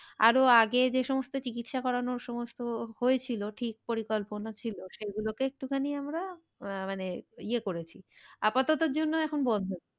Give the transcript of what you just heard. আরো আগে যে সমস্ত চিকিৎসা করানো সমস্ত হয়েছিল ঠিক পরিকল্পনা ছিল সে গুলোকে একটুখানি আমরা আহ মানে ইয়ে করেছি। আপাততর জন্য এখন বন্ধ,